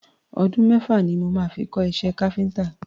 Ọdún mẹ́fà ni mo máa fi kọ́ iṣẹ́ káfíntà.